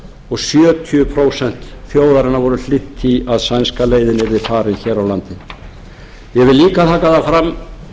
og sjötíu prósent þjóðarinnar voru hlynnt því að sænska leiðin yrði farin hér á landi ég vil líka taka það fram